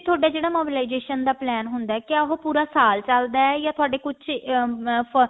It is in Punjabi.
ਥੋਡਾ ਜਿਹੜਾ mobilization ਦਾ plan ਹੁੰਦਾ ਕਿਆ ਉਹ ਪੂਰਾ ਸਾਲ ਚੱਲਦਾ ਯਾ ਥੋਡੇ ਕੁਛ ਅਮ